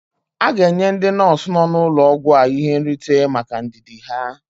A ga-enye ndị nọọsụ nọ n'ụlọ ọgwụ a ihe nrite maka ndidi ha.